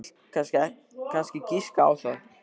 Þú vilt kannski giska á það.